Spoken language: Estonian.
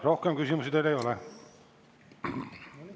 Rohkem küsimusi teile ei ole.